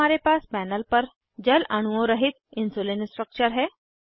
अब हमारे पास पैनल पर जल अणुओं रहित इन्सुलिन स्ट्रक्चर है